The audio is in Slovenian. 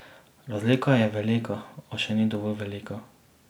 Razlika je velika, a še ni dovolj velika.